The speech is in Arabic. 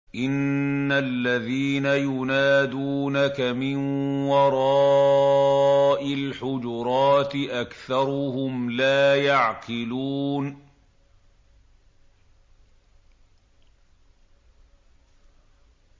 إِنَّ الَّذِينَ يُنَادُونَكَ مِن وَرَاءِ الْحُجُرَاتِ أَكْثَرُهُمْ لَا يَعْقِلُونَ